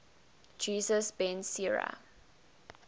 jesus ben sira